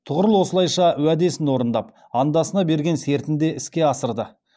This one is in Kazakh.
тұғырыл осылайша уәдесін орындап андасына берген сертінде іске асырды